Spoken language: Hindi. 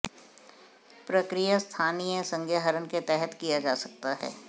प्रक्रिया स्थानीय संज्ञाहरण के तहत किया जा सकता है